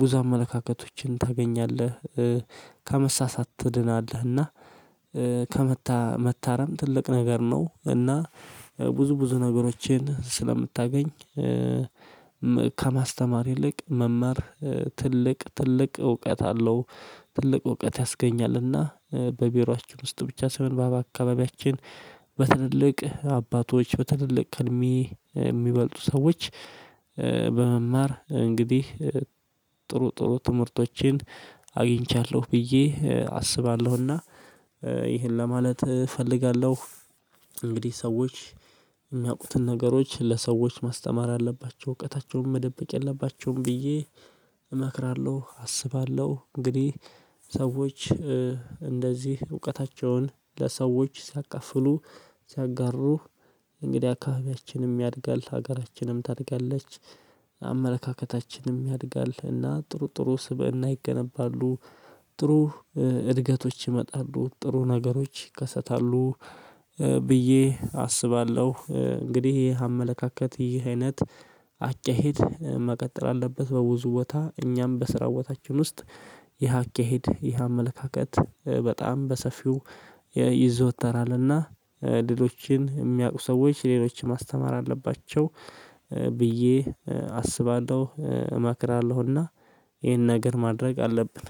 ብዙ አመለካከቶችን ታገኛለህ። ከመሳሳት ትድናለህና እና ከመታረም ትልቅ ነገር ነው እና ብዙ ብዙ ነገሮችን ስለምታገኝ። ከማስተማር ይልቅ መማር ትልቅ ትልቅ እውቀት አለው ትልቅ እውቀት ያስገኛልና። በቢሮአችን ውስጥ ብቻ ሳይሆን በአካባቢያችን አባቶች በትልልቅ እድሜ የሚበልጡ ሰዎች በመማር እንግዲህ ጥሩ ጥሩ ትምህርቶችን አግኝቻለሁ ብዬ አስባለሁና። ይሄን ለማለት እፈልጋለሁ። እንግዲህ ሰዎች የሚያውቁትን ነገሮች ለሰዎች ማስተማር አለባቸው እውቀታቸውን መደበቅ የለባቸውም ብዬ እመክራለሁ አስባለሁ። እንግዲህ ሰዎች እንደዚህ እውቀታቸውን ለሰዎች ሲያካፍሉ ሲያጋሩ እንግዲህ አካባቢያችንም ያድጋል ሀገራችንም ታድጋለች። አመለካከታችንም ያድጋልና ጥሩ ጥሩ ስብእና ይገነባሉ ጥሩ እድገቶች ይመጣሉ ጥሩ ነገሮች ይከሰታሉ። ብዬ አስባለሁ እንግዲህ አመለካከት ይሄ አይነት አካሄድ መቀጠል አለበት በብዙ ቦታ እኛም በስራ ቦታችን ውስጥ ይሄ አካሄድ ይህ አመለካከት በጣም በሰፊው ይዘወተራልና። ሌሎችን የሚያውቁ ሰዎች ሌሎችን ማስተማር አለባቸው ብዬ አስባለሁ እመክራለሁና። ይሄን ነገር ማድረግ አለብን።